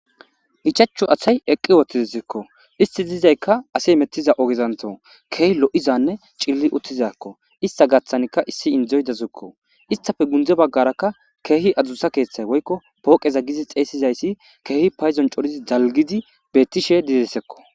ichachu asay eqqi wottizsekko isti diizaykka ase mettiza ogezanto keehi lo7izanne cilli uttizakko ista gaththanikka issi indzoy dazukko istafe gundze baggarakka keehi adzusa keeththay woykko pooqeza gizi xeesizayssi keehi payzon corizi dalgidi beettishe didesekko